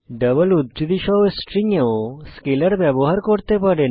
double উদ্ধৃতি সহ string এও স্কেলার ব্যবহার করতে পারেন